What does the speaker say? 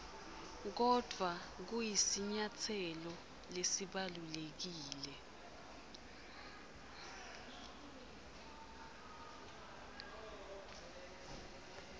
kodvwa kusinyatselo lesibalulekile